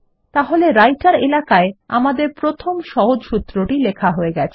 তাহলে রাইটের এলাকায় প্রথম একটি সহজ সূত্রটি লেখা হয়ে গেছে